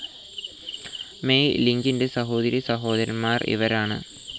May ലിംഗിൻ്റെ സഹോദരീ സഹോദരൻമാർ ഇവരാണ്.